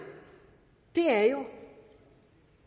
er jo